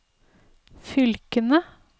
fylkene